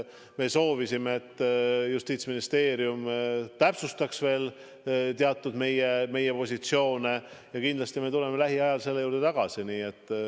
Me soovisime, et Justiitsministeerium täpsustaks veel meie teatud positsioone, ja kindlasti tuleme lähiajal selle juurde tagasi.